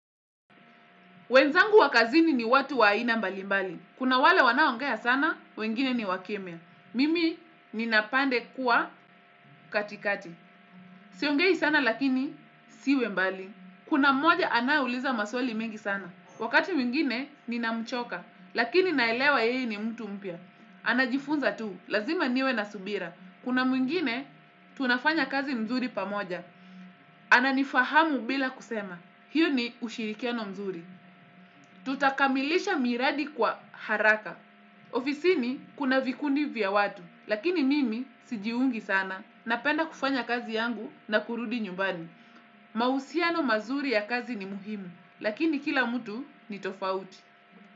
Wenzangu wa kazini ni watu wa aina mbalimbali. Kuna wale wanaoongea sana, wengine ni wakimya. Mimi ninapenda kuwa katikati. Siongei sana lakini siwi mbali. Kuna mmoja anaye uliza maswali mengi sana. Wakati mwingine ninamchoka, lakini naelewa yeye ni mtu mpya. Anajifunza tu, lazima niwe na subira. Kuna mwingine tunafanya kazi mzuri pamoja. Ananifahamu bila kusema. Hiyo ni ushirikiano mzuri. Tutakamilisha miradi kwa haraka. Ofisini kuna vikundi vya watu. Lakini mimi sijiungi sana, napenda kufanya kazi yangu na kurudi nyumbani. Mahusiano mazuri ya kazi ni muhimu. Lakini kila mtu ni tofauti.